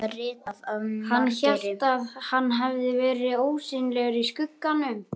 Hann hélt að hann hefði verið ósýnilegur í skugganum!